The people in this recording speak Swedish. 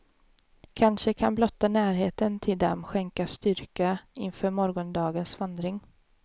Kanske kan blotta närheten till dem skänka styrka inför morgondagens vandring.